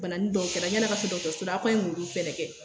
Banani dɔw kɛra yanni an ka se dɔgɔtɔrɔso la aw ko an ɲe muru fɛnɛ kɛ.